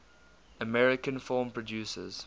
american film producers